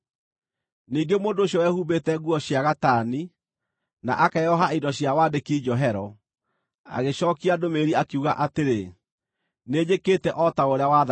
Ningĩ mũndũ ũcio wehumbĩte nguo cia gatani, na akeoha indo cia wandĩki njohero, agĩcookia ndũmĩrĩri, akiuga atĩrĩ, “Nĩnjĩkĩte o ta ũrĩa wathanire.”